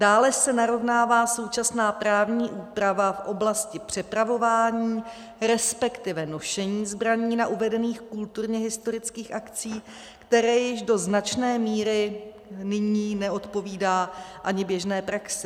Dále se narovnává současná právní úprava v oblasti přepravování, respektive nošení zbraní na uvedených kulturně historických akcích, které již do značné míry nyní neodpovídá ani běžné praxi.